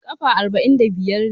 Kafa arba'in da biyar ne.